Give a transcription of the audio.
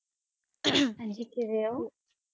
ਹਨ ਅਮ ਜੀ ਕਿਵਾ ਓਹੋ